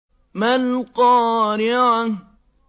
مَا الْقَارِعَةُ